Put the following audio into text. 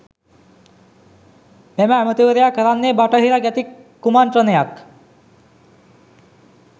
මෙම ඇමතිවරයා කරන්නේ බටහිර ගැති කුමන්ත්‍රණයක්.